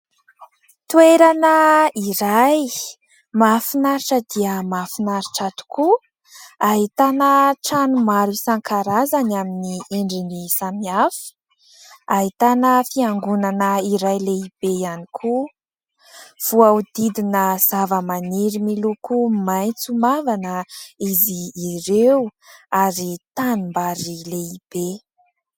Toerana iray mahafinaritra dia mahafinaritra tokoa, ahitana trano maro isan-karazany amin'ny endriny samihafa, ahitana fiangonana iray lehibe ihany koa, voahodidina zava-maniry miloko maitso mavana izy ireo ary tanim-bary lehibe.